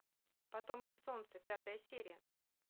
потомки солнца пятая серия